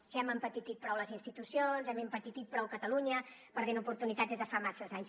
ja hem empetitit prou les institucions hem empetitit prou catalunya perdent oportunitats des de fa massa anys